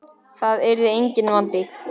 Það yrði enginn vandi.